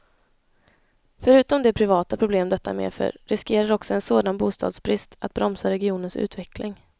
Förutom de privata problem detta medför, riskerar också en sådan bostadsbrist att bromsa regionens utveckling.